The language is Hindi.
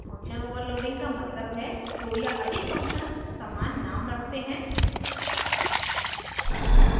function overloading का मतलब है दो या अधिक functions समान name रख सकते हैं